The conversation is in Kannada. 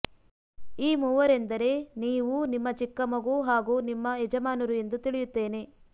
ಈ ಮೂವರೆಂದರೆ ನೀವು ನಿಮ್ಮ ಚಿಕ್ಕ ಮಗು ಹಾಗೂ ನಿಮ್ಮ ಯಜಮಾನರು ಎಂದು ತಿಳಿಯುತ್ತೇನೆ